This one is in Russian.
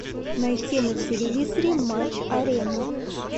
найти на телевизоре матч арена